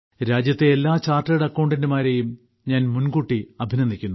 രാജ്യത്തെ എല്ലാ ചാർട്ടേഡ് അക്കൌണ്ടന്റ്മാരെയും ഞാൻ മുൻകൂട്ടി അഭിനന്ദിക്കുന്നു